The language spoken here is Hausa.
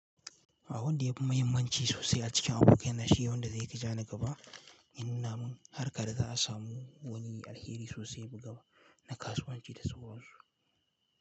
A wanda ya fi mahimmanci sosai a cikin abokai na shi, wanda zai fi ja ni gaba, in nuna min har ka da za a samu wani alheri sosai gaba na kasuwanci da sauransu.